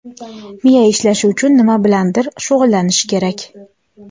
Miya ishlashi uchun nima bilandir shug‘ullanish kerak.